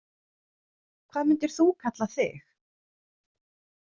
Hvað myndir þú kalla þig?